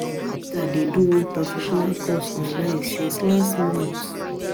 My sister dey do one professional course online since last month